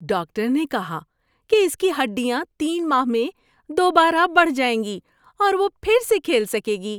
Doctor نے کہا کہ اس کی ہڈیاں تین ماہ میں دوبارہ بڑھ جائیں گی اور وہ پھر سے کھیل سکے گی۔